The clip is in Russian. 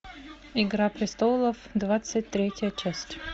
игра престолов двадцать третья часть